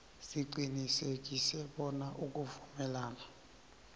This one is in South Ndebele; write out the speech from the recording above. siqinisekise bona ukuvumelana